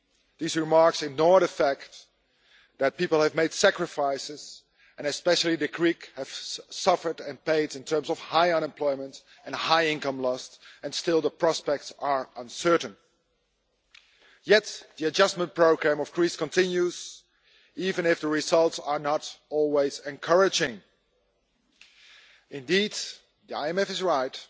These remarks ignore the fact that people have made sacrifices, and the Greeks especially have suffered and paid in terms of high unemployment and high income loss, and still the prospects are uncertain. Yet the adjustment programme for Greece continues, even if the results are not always encouraging. Indeed, the IMF is right